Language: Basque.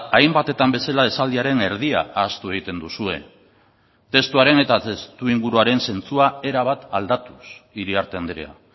hainbatetan bezala esaldiaren erdia ahaztu egiten duzue testuaren eta testuinguruaren zentzua erabat aldatuz iriarte andrea